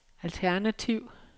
alternativ